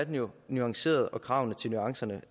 være nuanceret og kravene til nuancerne